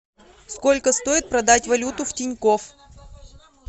сколько стоит продать валюту в тинькофф